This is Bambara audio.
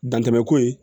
Dantɛmɛ ko ye